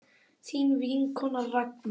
Þín vinkona Ragna.